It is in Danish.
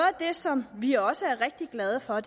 af det som vi også er rigtig glade for